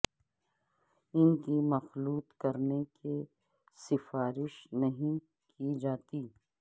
ان کی مخلوط کرنے کی سفارش نہیں کی جاتی ہے